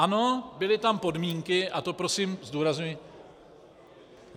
Ano, byly tam podmínky, a to prosím zdůrazňuji...